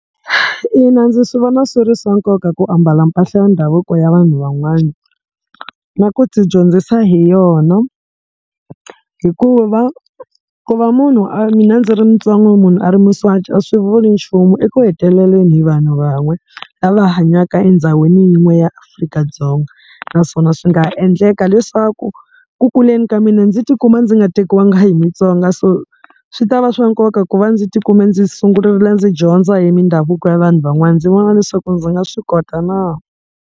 Ina, ndzi swi vona swi ri swa nkoka ku ambala mpahla ya ndhavuko ya vanhu van'wana, na ku ti dyondzisa hi yona, hikuva ku va munhu a mina ndzi ri mutsonga munhu a ri muswati a swi vuli nchumu eku heteleleni hi vanhu van'we lava hanyaka endhawini yin'we ya Afrika-Dzonga. Naswona swi nga endleka leswaku ku kuleni ka mina ndzi tikuma ndzi nga tekiwangi hi mutsonga, so swi ta va swa nkoka ku va ndzi tikume ndzi sungurile ndzi dyondza hi mindhavuko ya vanhu van'wana ndzi vona leswaku ndzi nga swi kota na.